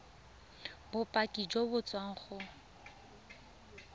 bopaki jo bo tswang go